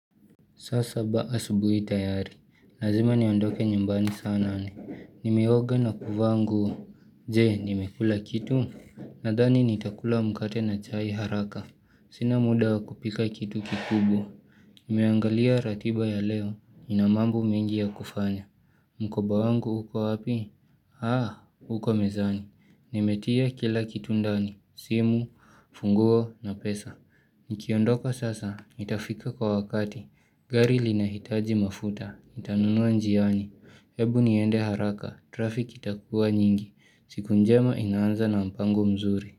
Saa saba asubuhi tayari, lazima niondoke nyambani saa nane, nimeoga na kuvaa nguo, jee nimekula kitu, nadhani nitakula mkate na chai haraka, sina muda wa kupika kitu kikubwa, nimeangalia ratiba ya leo, ina mambo mengi ya kufanya, mkoba wangu uko hapi? Haa, uko mezani, nimetia kila kitu ndani, simu, funguo na pesa. Nikiondoka sasa, itafika kwa wakati, gari linahitaji mafuta, nitanunua jioni. Hebu niende haraka, trafik itakuwa nyingi, siku njema inaanza na mpango mzuri.